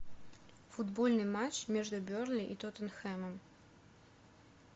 футбольный матч между бернли и тоттенхэмом